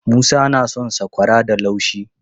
Musa na son sakwararsa da laushi.